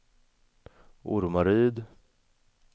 Ormaryd